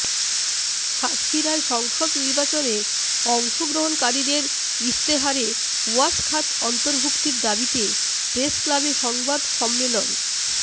সাতক্ষীরায় সংসদ নির্বাচনে অংশগ্রহণকারীদের ইশতেহারে ওয়াশ খাত অন্তর্ভুক্তির দাবিতে প্রেসক্লাবে সংবাদ সম্মেলন